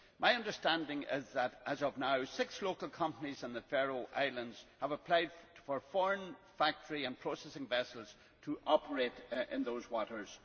My understanding is that, as of now, six local companies in the Faroe Islands have applied for foreign factory and processing vessels to operate in those waters.